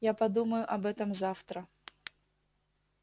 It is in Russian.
я подумаю об этом завтра